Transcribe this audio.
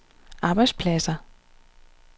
arbejdspladser